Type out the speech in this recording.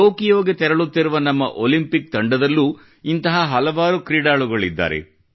ಟೊಕೊಯೋಗೆ ತೆರಳುತ್ತಿರುವ ನಮ್ಮ ಒಲಿಂಪಿಕ್ ತಂಡದಲ್ಲೂ ಇಂತಹ ಹಲವಾರು ಕ್ರೀಡಾಳುಗಳಿದ್ದಾರೆ